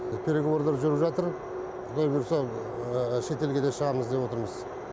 переговорлар жүріп жатыр құдай бұйырса шетелге де шығамыз деп отырмыз